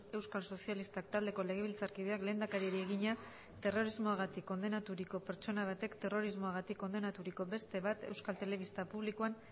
euskal sozialistak taldeko legebiltzarkideak lehendakariari egina terrorismoagatik kondenaturiko pertsona batek terrorismoagatik kondenaturiko beste bat euskal telebista publikoan